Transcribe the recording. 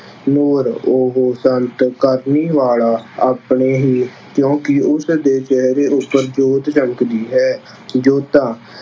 ਨੂਰ- ਉਹ ਸੰਤ ਕਰਨੀ ਵਾਲਾ ਆਪਣੇ ਹੀ, ਕਿਉਂਕਿ ਉਸਦੇ ਚਿਹਰੇ ਉੱਪਰ ਜੋਤ ਝੱਲਕਦੀ ਹੈ। ਜੋਤਾ-